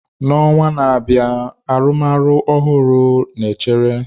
N'ọnwa na-abịa, arụmọrụ ọhụrụ na-echere.